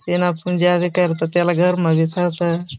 येना पूंजा बी करत त्याला घर म थ्याता --